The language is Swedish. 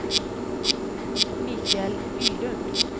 Mikael Bylund